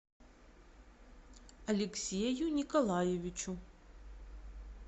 алексею николаевичу